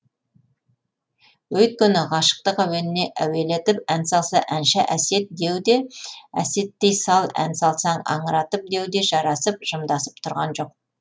өйткені ғашықтық әуеніне әуелетіп ән салса әнші әсет деу де әсеттей сал ән салсаң аңыратып деу де жарасып жымдасып тұрған жоқ